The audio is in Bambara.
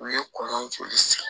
U ye kɔn joli sigi